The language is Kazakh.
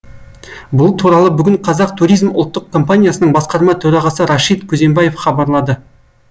бұл туралы бүгін қазақ туризм ұлттық компаниясының басқарма төрағасы рашид күзембаев хабарлады